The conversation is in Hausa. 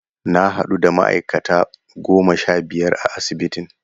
Na hadu da ma'aikata goma sha biyar a asibitin.